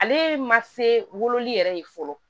Ale ma se wololi yɛrɛ ye fɔlɔ